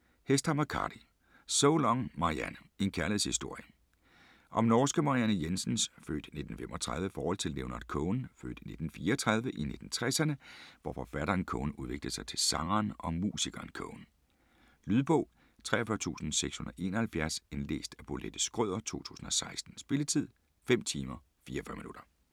Hesthamar, Kari: So long, Marianne: en kærlighedshistorie Om norske Marianne Jensens (f. 1935) forhold til Leonard Cohen (f. 1934) i 1960'erne hvor forfatteren Cohen udviklede sig til sangeren og musikeren Cohen. Lydbog 43671 Indlæst af Bolette Schrøder, 2016. Spilletid: 5 timer, 44 minutter.